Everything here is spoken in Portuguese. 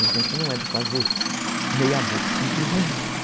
E a gente não é de fazer meia boca, como diz, né?